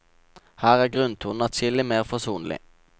Her er grunntonen atskillig mer forsonlig.